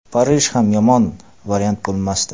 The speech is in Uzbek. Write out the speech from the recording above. Parij ham yomon variant bo‘lmasdi.